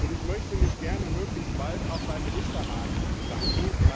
Ich möchte mich gerne möglichst bald auch beim Ministerrat bedanken